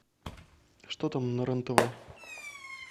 что там на рен тв